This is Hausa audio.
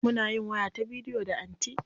Muna yin waya ta bidiyo da anty.